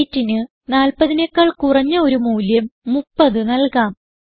weightന് 40 നെക്കാൾ കുറഞ്ഞ ഒരു മൂല്യം 30 നൽകാം